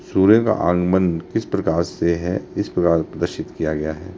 सूर्य का आगमन किस प्रकार से हैइस प्रकार प्रदर्शित किया गया है।